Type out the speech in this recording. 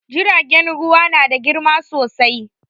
Jiragen ruwa na da girma sosai